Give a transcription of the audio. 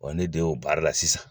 Ɔ ne den'o baara la sisan.